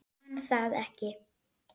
Man það ekki.